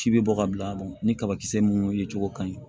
Ci bɛ bɔ ka bila ni kabakisɛ munnu ye cogo ka ɲi